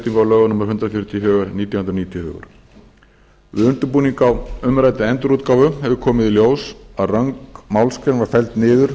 breytingu á lögum númer hundrað fjörutíu og fjögur nítján hundruð níutíu og fjögur við undirbúning á umræddri endurútgáfu hefur komið í ljós að röng málsgrein var felld niður